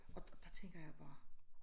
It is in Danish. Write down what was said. Og der tænker jeg bare